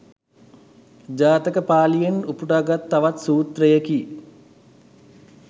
ජාතක පාලියෙන් උපුටාගත් තවත් සූත්‍රයකි.